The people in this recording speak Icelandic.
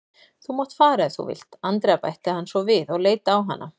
Þú mátt fara ef þú vilt, Andrea bætti hann svo við og leit á hana.